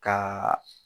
Ka